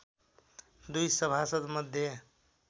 दुई सभासद् मध्ये